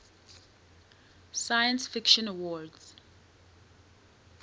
science fiction awards